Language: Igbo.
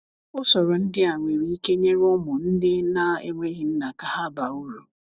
usọrọ ndi a nwere ike nyere ụmụ ndi na enweghi nna ka ha baa ụrụ